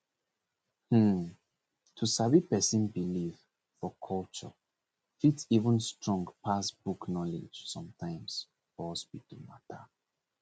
hmmm to sabi person belief for culture fit even strong pass book knowledge sometimes for hospital matter